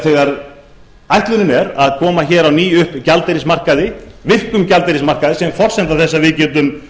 þegar ætlunin er að koma á ný upp virkum gjaldeyrismarkaði sem er forsenda þess að við getum